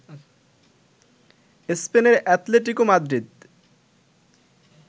স্পেনের Atletico Madrid